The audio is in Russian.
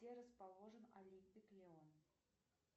где расположен олимпик леон